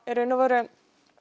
í raun og veru